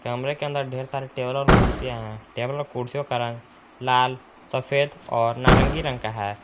कमरे के अंदर ढेर सारे टेबल और कुर्सियां हैं टेबल और कुर्सियों का रंग लाल सफेद और नारंगी रंग का है।